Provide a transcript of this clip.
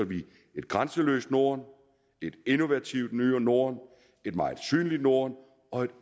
et grænseløst norden et innovativt norden et meget synligt norden og et